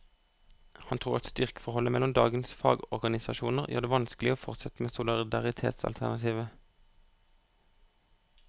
Han tror at styrkeforholdet mellom dagens fagorganisasjoner gjør det vanskelig å fortsette med solidaritetsalternativet.